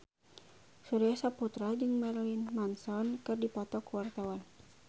Surya Saputra jeung Marilyn Manson keur dipoto ku wartawan